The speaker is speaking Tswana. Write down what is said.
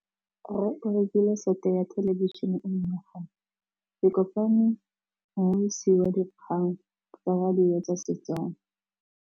Rre o rekile sete ya thêlêbišênê e nngwe gape. Ke kopane mmuisi w dikgang tsa radio tsa Setswana.